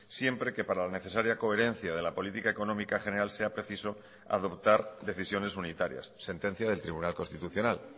siempre que para la necesaria coherencia de la política económica general sea preciso adoptar decisiones unitarias sentencia del tribunal constitucional